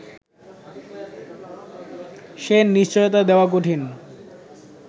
সে নিশ্চয়তা দেওয়া কঠিন